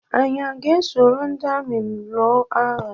Anyị a ga-eso ndị amị lụọ agha?